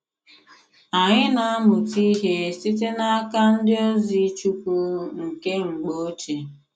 Anyị na amuta ihe site n'aka ndi ozi chukwu nke mgbo oche.